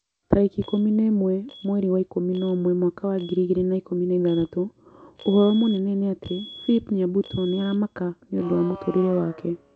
Tarĩki ikũmi na ĩmwe mweri wa ikũmi na ũmwe mwaka wa ngiri igĩrĩ na ikũmi na ithathatũ ũhoro mũnene nĩ ati philip nyabuto nĩ aramaka nĩũndũ wa mũtũrĩre wake